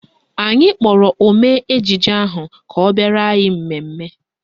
Anyị kpọrọ omee ejije ahụ ka ọ bịara anyị mmemme